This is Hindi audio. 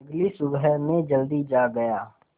अगली सुबह मैं जल्दी जाग गया